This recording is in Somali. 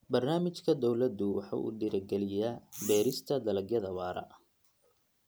Barnaamijka dawladdu waxa uu dhiirigeliyaa beerista dalagyada waara.